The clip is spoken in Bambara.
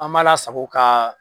An m'a lasago ka